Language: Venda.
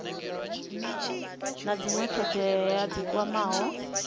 na dzinwe thodea dzi kwamaho